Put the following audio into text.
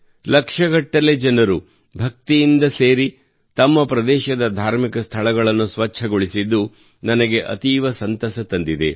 ಲಕ್ಷಗಟ್ಟಲೆ ಜನರು ಭಕ್ತಿಯಿಂದ ಸೇರಿ ತಮ್ಮ ಪ್ರದೇಶದ ಧಾರ್ಮಿಕ ಸ್ಥಳಗಳನ್ನು ಸ್ವಚ್ಛಗೊಳಿಸಿದ್ದು ನನಗೆ ಅತೀವ ಸಂತಸ ತಂದಿದೆ